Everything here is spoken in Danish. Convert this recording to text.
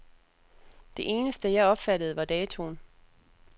Det eneste, jeg opfattede, var datoen.